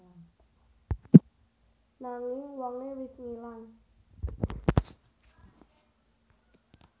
Nanging wongé wis ngilang